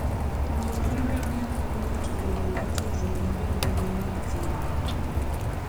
wuoth mar ngamia konyo ng'ato bedo gi tudruok maber gi le mag thim.